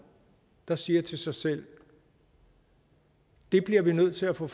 der siger til sig selv vi bliver nødt til at få